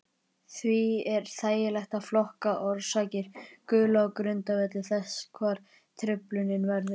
Því er þægilegt að flokka orsakir gulu á grundvelli þess hvar truflunin verður.